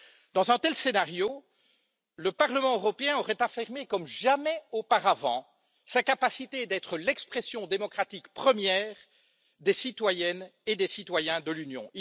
Dans un tel scénario, le Parlement européen aurait affirmé comme jamais auparavant, sa capacité d'être l'expression démocratique première des citoyennes et des citoyens de l'Union.